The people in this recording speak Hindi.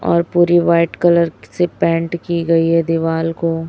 और पूरी व्हाईट कलर से पेंट की गई है दीवाल को।